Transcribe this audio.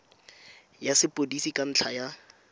ya sepodisi ka ntlha ya